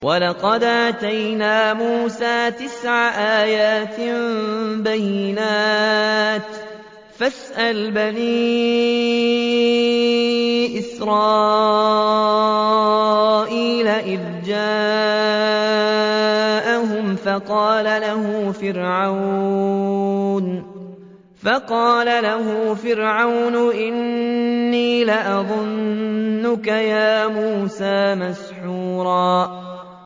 وَلَقَدْ آتَيْنَا مُوسَىٰ تِسْعَ آيَاتٍ بَيِّنَاتٍ ۖ فَاسْأَلْ بَنِي إِسْرَائِيلَ إِذْ جَاءَهُمْ فَقَالَ لَهُ فِرْعَوْنُ إِنِّي لَأَظُنُّكَ يَا مُوسَىٰ مَسْحُورًا